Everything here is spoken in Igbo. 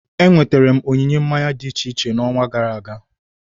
Enweterem onyinye mmanya dị iche iche na onwa gara aga